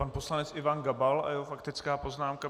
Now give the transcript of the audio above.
Pan poslanec Ivan Gabal a jeho faktická poznámka.